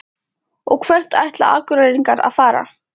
Og hvert ætla Akureyringar að fara?